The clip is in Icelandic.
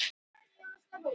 Engin er æska án breka.